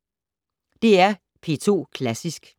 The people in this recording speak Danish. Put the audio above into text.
DR P2 Klassisk